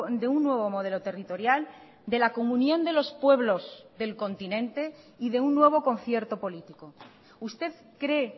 de un nuevo modelo territorial de la comunión de los pueblos del continente y de un nuevo concierto político usted cree